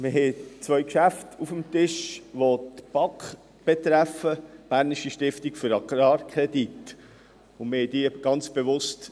Wir haben zwei Geschäfte auf dem Tisch, welche die Bernische Stiftung für Agrarkredite (BAK) betreffen.